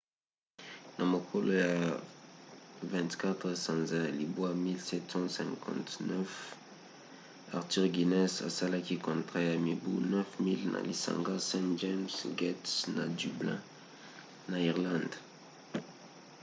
na mokolo ya 24 sanza ya libwa 1759 arthur guinness asalaki contrat ya mibu 9 000 na lisanga st james 'gate na dublin na irlande